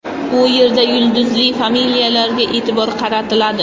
U yerda yulduzli familiyalarga e’tibor qaratiladi.